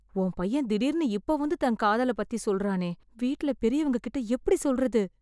உன் பையன் திடீர்னு இப்போ வந்து தன் காதலை பத்தி சொல்றானே... வீட்ல பெரியவங்ககிட்ட எப்டி சொல்றது?